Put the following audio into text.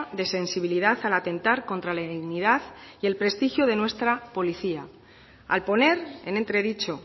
de sensibilidad al atentar contra la dignidad y el prestigio de nuestra policía al poner en entredicho